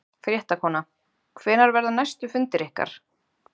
Fréttakona: Hvenær verða næstu fundir ykkar?